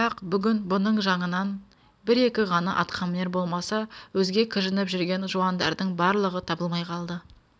бірақ бүгін бұның жаңынан бір-екі ғана атқамінер болмаса өзге кіжініп жүрген жуандардың барлығы табылмай қалды